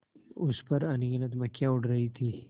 उस पर अनगिनत मक्खियाँ उड़ रही थीं